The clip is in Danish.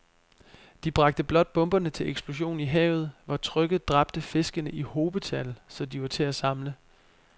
De bragte blot bomberne til eksplosion i havet, hvor trykket dræbte fiskene i hobetal, så de var til at samle